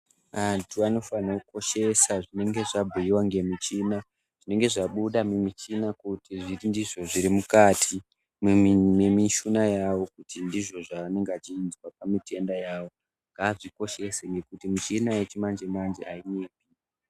Antu anofanira kukoshesa zvinenge zvabhuyiwa nemichina, zvinenge zvabuda mumichina kuti ndizvo zviri mukati yemichina yavo kuti ndizvo zvaanenge achinzwa pamishuna yavo ngaazvikoshese nekuti michina yechimanje manje hainyepi.